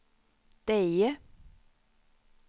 Deje